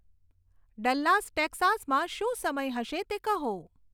Dallas ટેક્સાસમાં શું સમય હશે તે કહો